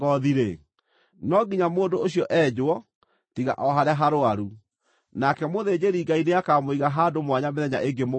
no nginya mũndũ ũcio enjwo tiga o harĩa harũaru, nake mũthĩnjĩri-Ngai nĩakamũiga handũ mwanya mĩthenya ĩngĩ mũgwanja.